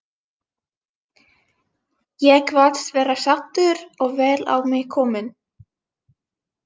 Ég kvaðst vera saddur og vel á mig kominn.